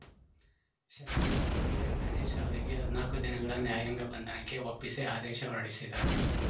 ಶಾಸಕ ಜೆಎನ್‌ ಗಣೇಶ್‌ ಅವರಿಗೆ ಹದ್ನಾಕು ದಿನಗಳ ನ್ಯಾಯಾಂಗ ಬಂಧನಕ್ಕೆ ಒಪ್ಪಿಸಿ ಆದೇಶ ಹೊರಡಿಸಿದ್ದರು